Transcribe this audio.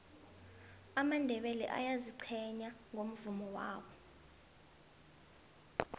amandebele ayaziqhenya ngomvumo wabo